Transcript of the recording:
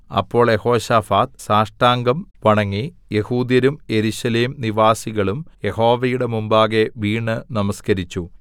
അപ്പോൾ യെഹോശാഫാത്ത് സാഷ്ടാംഗം വണങ്ങി യെഹൂദ്യരും യെരൂശലേം നിവാസികളും യഹോവയുടെ മുമ്പാകെ വീണ് നമസ്കരിച്ചു